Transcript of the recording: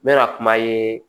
N bɛna kuma ye